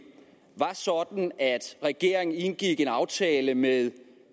regeringen indgik en aftale med